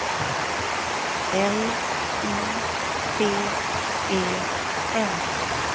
L I T E N